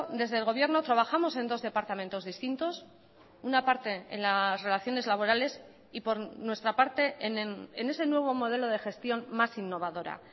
desde el gobierno trabajamos en dos departamentos distintos una parte en las relaciones laborales y por nuestra parte en ese nuevo modelo de gestión más innovadora